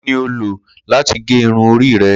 Kini o lo lati ge irun ori rẹ?